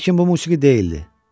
Lakin bu musiqi deyildi.